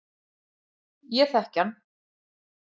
Ég þekki hann.